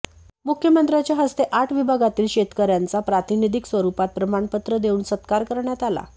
मुख्यमंत्र्यांच्या हस्ते आठ विभागातील शेतकऱ्यांचा प्रातिनिधिक स्वरूपात प्रमाणपत्र देऊन सत्कार करण्यात आला